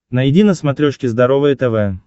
найди на смотрешке здоровое тв